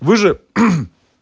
вы же